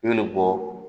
I bɛ bɔ